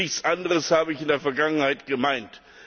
Und nichts anderes habe ich in der Vergangenheit gemeint!